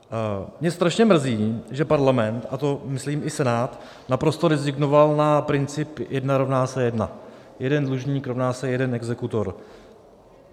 Mě strašně mrzí, že Parlament, a to myslím i Senát, naprosto rezignoval na princip jedna rovná se jedna, jeden dlužník rovná se jeden exekutor.